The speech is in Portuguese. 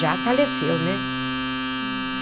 Já faleceu, né?